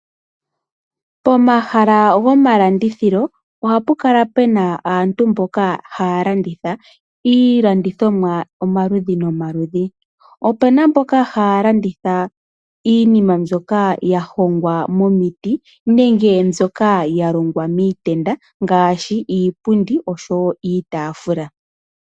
Pomahala gomalandithilo ohapu kala puna aantu mboka haya landitha iilandithonwa omaludhi nomaludhi. Opuna mboka haya landitha iinima mbyoka ya hongwa momiti. Nenge mbyoka ya longwa miitenda ngaashi iipundi iitaafula.